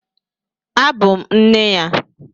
Abụ m nne ya.